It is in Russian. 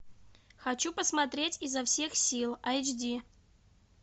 хочу посмотреть изо всех сил эйч ди